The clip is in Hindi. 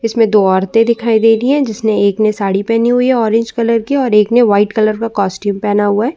इसमें दो औरतें दिखाई दे रही हैं जिसने एक ने साड़ी पहने हैं ऑरेंज कलर की और एक ने व्हाइट कलर का कास्टूम पहना हुआ।